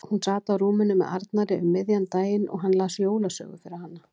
Hún sat á rúminu með Arnari um miðjan daginn og hann las jólasögu fyrir hana.